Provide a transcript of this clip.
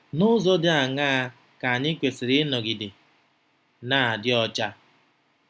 N'ụzọ ndị dị aṅaa ka anyị kwesịrị ịnọgide na-adị ọcha?